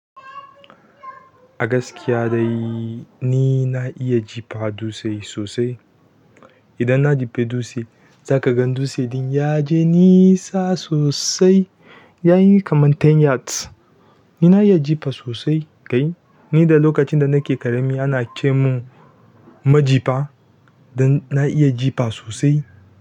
Agaskiya dai ni na iya jifa dutse sosai. Idan na jife dutse za ka gan dutsen ɗin ya je nisa sosai. Yayi kamar ten yards. Ni na iya jifa sosai kai. Ni da lokacin da nake ƙarami ana ce mun majifa dan na iya jifa sosai.